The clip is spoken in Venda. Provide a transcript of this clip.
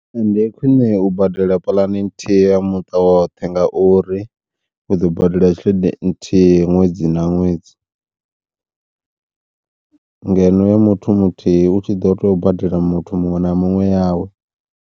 Ndi khwiṋe u badela puḽane nthihi ya muṱa woṱhe ngauri, u ḓo badela tshelede nthihi ṅwedzi na ṅwedzi ngeno ya muthu muthihi utshi ḓo tea u badela muthu muṅwe na muṅwe yawe.